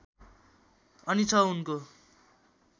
अनि छ उनको